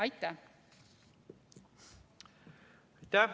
Aitäh!